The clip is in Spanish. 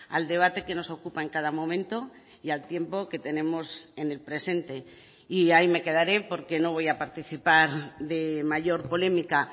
al debate que nos ocupa en cada momento y al tiempo que tenemos en el presente y ahí me quedaré porque no voy a participar de mayor polémica